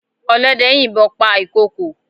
Ọlọ́dẹ yìnbọn pa ìkokò.